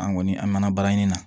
An kɔni an mɛn na baara ɲini na